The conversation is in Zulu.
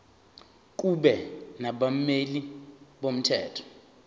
kube nabameli bomthetho